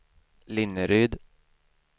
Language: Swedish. Linneryd